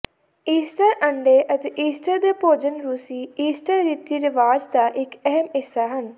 Easter ਅੰਡੇ ਅਤੇ Easter ਦੇ ਭੋਜਨ ਰੂਸੀ ਈਸਟਰ ਰੀਤੀ ਰਿਵਾਜ ਦਾ ਇੱਕ ਅਹਿਮ ਹਿੱਸਾ ਹਨ